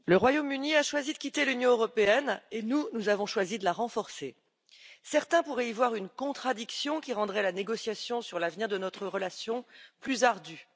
Monsieur le Président, le Royaume Uni a choisi de quitter l'Union européenne et nous, nous avons choisi de la renforcer. Certains pourraient y voir une contradiction qui rendrait la négociation sur l'avenir de notre relation plus ardue.